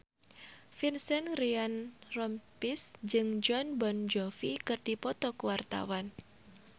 Vincent Ryan Rompies jeung Jon Bon Jovi keur dipoto ku wartawan